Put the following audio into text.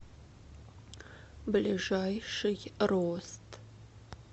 ближайший рост